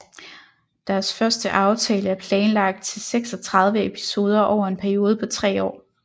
Deres første aftale er planlagt til 36 episoder over en periode på tre år